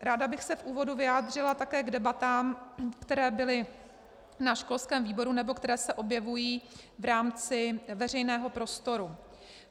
Ráda bych se v úvodu vyjádřila také k debatám, které byly na školském výboru nebo které se objevují v rámci veřejného prostoru.